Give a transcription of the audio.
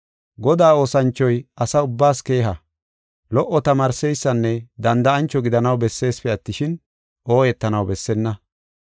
Godaa oosanchoy asa ubbaas keeha, lo77o tamaarseysanne danda7ancho gidanaw besseesipe attishin, ooyetanaw bessenna.